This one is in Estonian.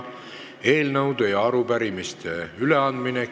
Eelnõude ja arupärimiste üleandmine.